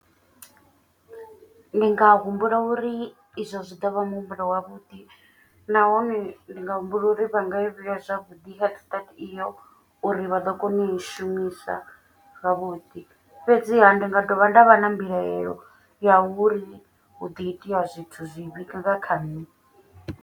Ndi nga humbula uri izwo zwi ḓo vha muhumbulo wavhuḓi. Nahone ndi nga humbula uri vha nga i vhea zwavhuḓi head start iyo uri vha ḓo kona u i shumisa zwavhuḓi. Fhedziha ndi nga dovha nda vha na mbilaelo ya uri hu do itea zwithu zwivhi nga kha nṋe.